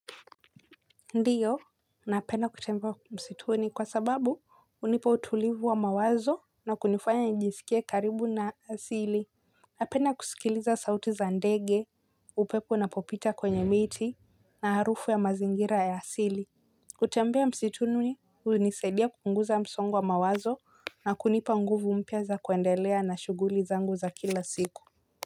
Ndiyo napenda kutembea msituni kwa sababu hunipa utulivu wa mawazo na kunifanya njisikie karibu na asili. Napenda kusikiliza sauti za ndege upepo unapopita kwenye miti na harufu ya mazingira ya asili. Kutembea msituni hunisaidia kunguza msongo wa mawazo na kunipa nguvu mpya za kuendelea na shughuli zangu za kila siku.